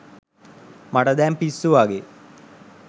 මට දැන් පිස්සු වගේ